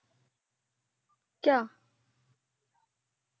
ਕਯਾ।